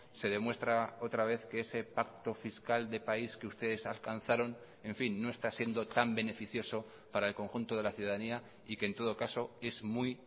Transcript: se demuestra otra vez que ese pacto fiscal de país que ustedes alcanzaron en fin no está siendo tan beneficioso para el conjunto de la ciudadanía y que en todo caso es muy